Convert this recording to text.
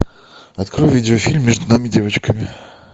открой видео фильм между нами девочками